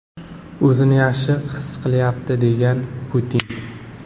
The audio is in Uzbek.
O‘zini yaxshi his qilyapti”, degan Putin.